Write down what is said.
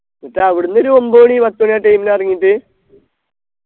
എന്നിട്ട് അവിടുന്ന് ഒരു ഒമ്പത് മണി പത്തു മണി ആ time ൽ എറങ്ങിട്ട്